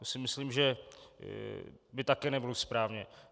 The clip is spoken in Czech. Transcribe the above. To si myslím, že by také nebylo správné.